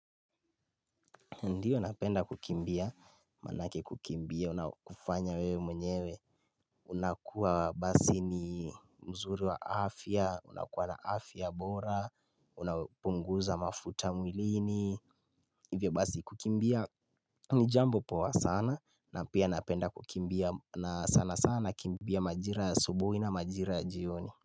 Ndio napenda kukimbia, manake kukimbia, unakufanya wewe mwenyewe unakuwa basi ni mzuri wa afya, unakuwa na afya bora, unapunguza mafuta mwilini, hivyo basi kukimbia ni jambo poa sana na pia napenda kukimbia na sana sana nakimbia majira ya asubuhi na majira ya jioni.